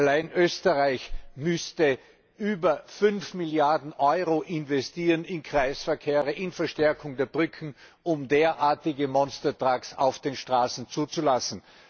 Allein Österreich müsste über 5 Milliarden Euro investieren in Kreisverkehre, in Verstärkung der Brücken, um derartige Monstertrucks auf den Straßen zuzulassen.